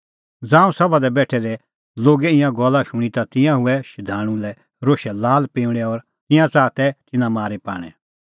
ज़ांऊं सभा दी बेठै दै लोगै ईंयां गल्ला शूणीं ता तिंयां हुऐ शधाणूं लै रोशै लालपिंऊंल़ै और तिंयां च़ाहा तै तिन्नां मारी पाणै